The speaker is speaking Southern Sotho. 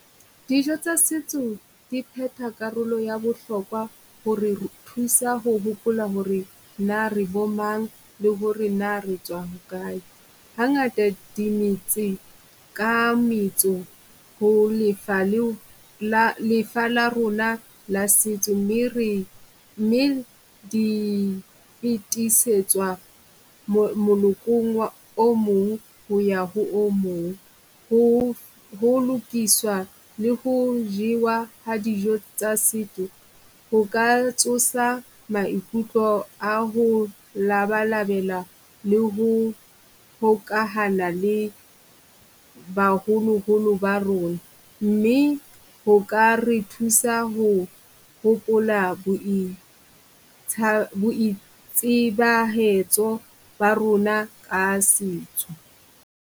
Dijo tsa setso di pheta karolo ya bohlokwa ho re re thusa ho hopola h ore na re bo mang, le ho re na re tswa hokae. Ha ngata di metse ka metso ho lefa le o la lefa la rona la setso mme re, mme di pitisetswa monokong wa o mong ho ya ho o mong. Ho ho lokiswa le ho jewa ha dijo tsa setso ho ka tsosa maikutlo a ho labalabela le ho hokahana le baholoholo ba rona. Mme ho ka re thusa ho hopola boitsebahetso ba rona ka setso.